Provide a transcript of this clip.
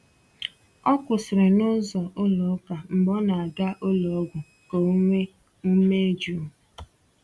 O kwụsịrị n’ụzọ ụlọ ụka mgbe ọ na-aga ụlọọgwụ ka o nwee ume jụụ.